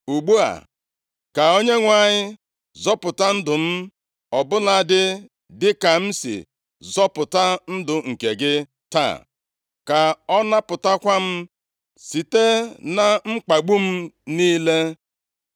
Ugbu a, ka Onyenwe anyị zọpụta ndụ m, ọ bụladị dịka m sị zọpụta ndụ nke gị taa. Ka ọ napụtakwa m site na mkpagbu m niile.”